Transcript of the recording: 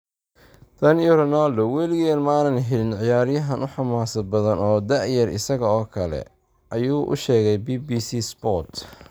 “Tan iyo Ronaldo, waligeen ma aanan helin ciyaaryahan u xamaasad badan oo da’yar isaga oo kale” ayuu u sheegay BBC Sport.